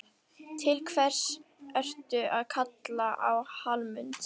Til hvers ertu að kalla á Hallmund?